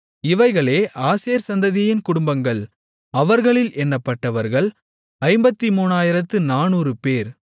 இவைகளே ஆசேர் சந்ததியின் குடும்பங்கள் அவர்களில் எண்ணப்பட்டவர்கள் 53400 பேர்